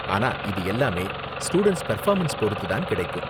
ஆனா இது எல்லாமே ஸ்டூடண்ட்ஸ் பெர்ஃபார்மன்ஸ் பொறுத்து தான் கிடைக்கும்.